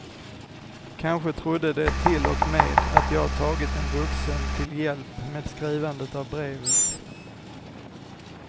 Kanske trodde de till och med att jag tagit en vuxen till hjälp med skrivandet av brevet.